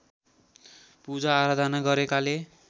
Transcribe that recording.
पूजा आराधना गरेकाले